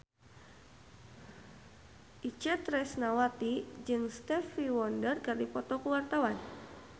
Itje Tresnawati jeung Stevie Wonder keur dipoto ku wartawan